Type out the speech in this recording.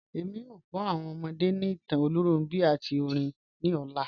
Ẹ̀mi yóò kọ́ awọn ọmọdé ni ìtàn Olúnrọ̀nbi àti orin ni ọlá.